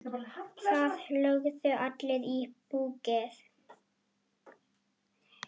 Það lögðu allir í púkkið.